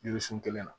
Yiri sun kelen na